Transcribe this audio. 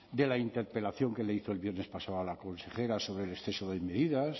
de la interpelación que le hizo el viernes pasado a la consejera sobre el exceso de medidas